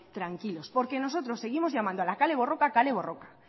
tranquilos porque nosotros seguimos llamando a la kale borroka kale borroka